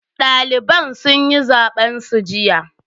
Daliban sun yi zaben su jiya.